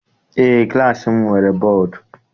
Eé, klassi m nwere bọdu.